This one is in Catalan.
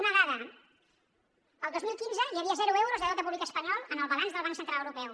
una dada el dos mil quinze hi havia zero euros de deute públic espanyol en el balanç del banc central europeu